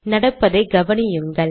நடப்பதை கவனியுங்கள்